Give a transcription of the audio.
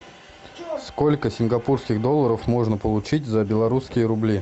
сколько сингапурских долларов можно получить за белорусские рубли